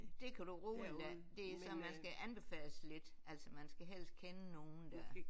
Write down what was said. Det kan du roligt lade det er sådan man skal anbefales lidt altså man skal helst kende nogen der